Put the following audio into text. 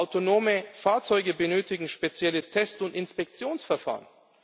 Autonome Fahrzeuge benötigen spezielle Test und Inspektionsverfahren.